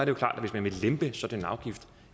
jo klart at hvis man vil lempe sådan